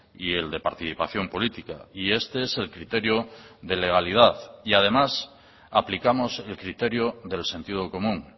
y el de participación política y este es el criterio de legalidad y además aplicamos el criterio del sentido común